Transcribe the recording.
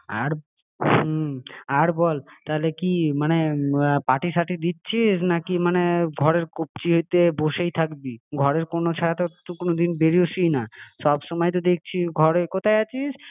আর হুম আর বল তাহলে কি আর মানে পার্টি সার্টি দিচ্ছিস নাকি মানে আর ঘরের কব্জিতে বসেই থাকবি ঘরের কোনো ছাড়া তো কোনোদিন বেড়োসই না সব সময় তো দেখছি ঘরের কোথায় আছিস?